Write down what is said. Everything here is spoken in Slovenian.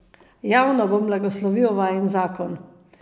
Javno bom blagoslovil vajin zakon.